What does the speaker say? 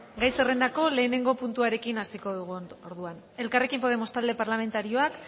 gai zerrendako lehenengo puntuarekin hasiko dugu orduan elkarrekin podemos talde parlamentarioak